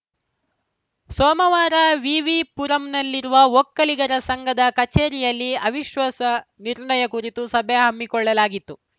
ಸೋಮವಾರ ವಿವಿಪುರಂನಲ್ಲಿರುವ ಒಕ್ಕಲಿಗರ ಸಂಘದ ಕಚೇರಿಯಲ್ಲಿ ಅವಿಶ್ವಾಸ ನಿರ್ಣಯ ಕುರಿತು ಸಭೆ ಹಮ್ಮಿಕೊಳ್ಳಲಾಗಿತ್ತು